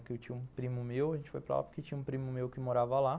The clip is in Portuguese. Porque eu tinha um primo meu, a gente foi para lá porque tinha um primo meu que morava lá.